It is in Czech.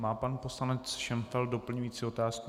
Má pan poslanec Šenfeld doplňující otázku?